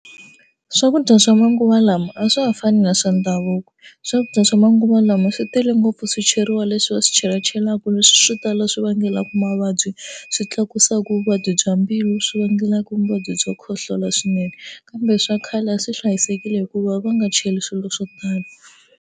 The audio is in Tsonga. Swakudya swa manguva lama a swa ha fani na swa ndhavuko. Swakudya swa manguva lama swi tele ngopfu swicheriwa leswi va swi chelachelaka leswi swo tala swi vangelaka mavabyi swi tlakusa ku vuvabyi bya mbilu swi vangelaka muvabyi byo khohlola swinene kambe swa khale swi a hlayisekile hikuva va nga cheli swilo swo tala.